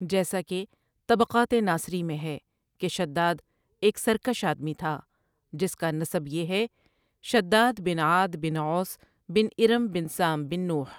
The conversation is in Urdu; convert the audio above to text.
جیسا کہ طبقات ناصری میں ہے کہ شداد ایک سرکش آدمی تھا جس کا نسب یہ ہے شداد بن عاد بن عوص بن ارم بن سام بن نوحؑ ۔